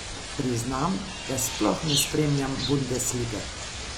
Priznam, da sploh ne spremljam bundeslige.